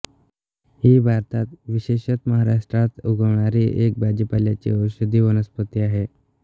ही भारतात विशेषतमहाराष्ट्रात उगवणारी एक भाजीपाल्याची औषधी वनस्पती आहे